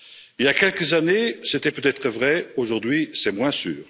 Il y a quelques années, c'était peut être vrai, aujourd'hui, c'est moins sûr.